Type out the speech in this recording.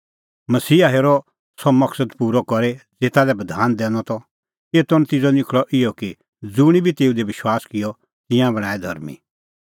मसीहा हेरअ सह मकसद पूरअ करी ज़ेता लै बधान दैनअ त एतो नतिज़अ निखल़अ इहअ कि ज़ुंणी बी तेऊ दी विश्वास किअ तिंयां बणांऐं धर्मीं